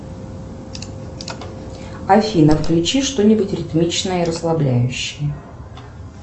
афина включи что нибудь ритмичное и расслабляющее